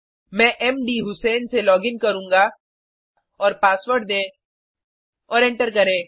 मैं मधुसें से लॉगिन करुँगा और पासवर्ड दें और एंटर करें